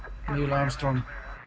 neil Armstrong